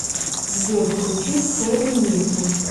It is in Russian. сбер включи хэри нильсон